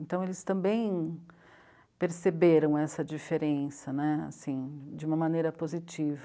Então, eles também perceberam essa diferença né, assim, de uma maneira positiva.